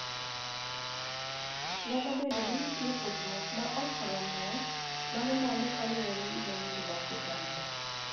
Nyalo bedo ni nitie pogruok ma ok romre mar mwandu kaluwore gi dhoudi mag oganda.